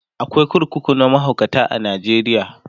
akwai kurkuku na mahaukata a Najeriya